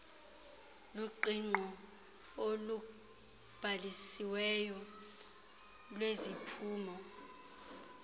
luqingqo olubhalisiweyo lweziphumo